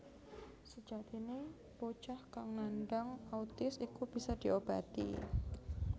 Sejatine bocah kang nandang autis iku bisa diobati